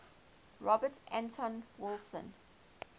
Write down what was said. robert anton wilson